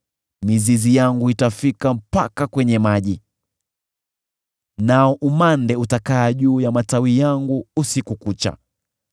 Mizizi yangu itafika mpaka kwenye maji, nao umande utakaa juu ya matawi yangu usiku kucha.